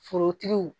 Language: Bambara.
Forotigiw